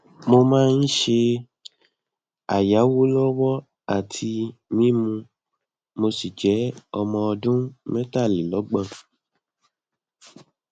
mo máa ń ṣe àyáwo lọwọ àti mímu mo sì jẹ ọmọ ọdún metalelogbon